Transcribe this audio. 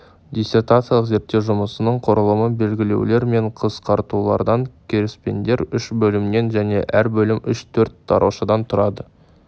диссертациялық зерттеу жұмысының құрылымы белгілеулер мен қысқартулардан кіріспеден үш бөлімнен және әр бөлім үш төрт тараушадан тұрады